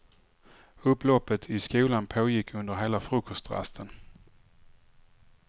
Upploppet i skolan pågick under hela frukostrasten.